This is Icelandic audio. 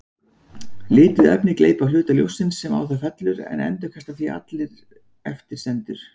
Lituð efni gleypa hluta ljóssins sem fellur á það en endurkasta því sem eftir stendur.